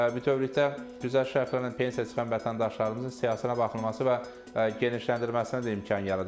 Bütövlükdə güzəşt şərtlərinin pensiyaya çıxan vətəndaşlarımızın siyahısına baxılması və genişləndirilməsinə də imkan yarada bilər.